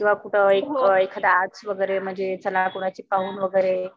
किंवा कुठं एखाद आर्ट वगैरे म्हणजे चला कुणाची पाहून वगैरे